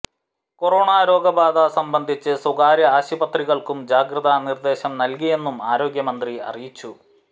corona രോഗബാധ സംബന്ധിച്ച് സ്വകാര്യ ആശുപത്രികള്ക്കും ജാഗ്രത നിര്ദ്ദേശം നല്കിയെന്നും ആരോഗ്യമന്ത്രി അറിയിച്ചു